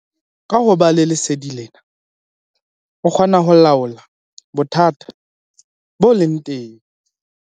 Ka ho ba le lesedi lena, o kgona ho laola bothata bo leng teng.